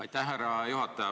Aitäh, härra juhataja!